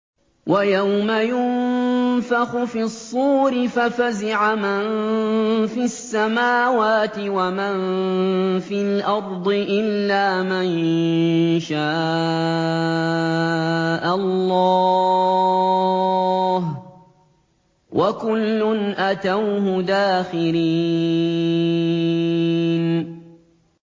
وَيَوْمَ يُنفَخُ فِي الصُّورِ فَفَزِعَ مَن فِي السَّمَاوَاتِ وَمَن فِي الْأَرْضِ إِلَّا مَن شَاءَ اللَّهُ ۚ وَكُلٌّ أَتَوْهُ دَاخِرِينَ